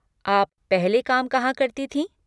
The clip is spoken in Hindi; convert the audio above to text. आप पहले काम कहाँ करती थीं?